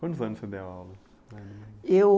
Quantos anos você deu aula? Eu